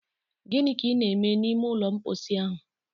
Gịnị ka ị na-eme n'ime ụlọ mposi ahụ?